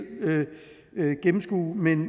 gennemskue men